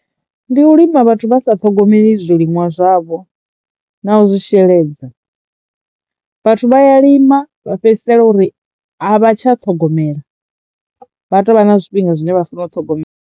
Ndi u lima vhathu vha sa ṱhogomeli zwiliṅwa zwavho na u zwi sheledza. Vhathu vha ya lima vha fhedzisela uri a vha tsha ṱhogomela vha tovha na zwifhinga zwine vha funo u ṱhogomela.